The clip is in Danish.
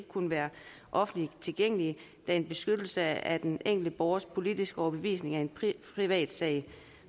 kunne være offentligt tilgængelige da en beskyttelse af den enkelte borgers politiske overbevisning er en privatsag